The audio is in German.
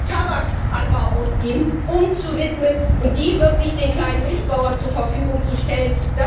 Euro, die wir für Tabakanbau ausgeben, umzuwidmen und dieses Geld wirklich den kleinen Milchbauern zur Verfügung zu stellen.